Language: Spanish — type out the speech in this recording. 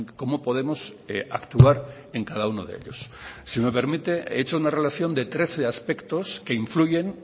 cómo podemos actuar en cada uno de ellos si me permite he hecho una relación de treces aspectos que influyen